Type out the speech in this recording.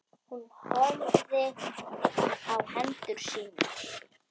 Hún horfir á hendur sínar.